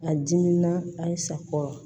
A dimina a sakɔrɔ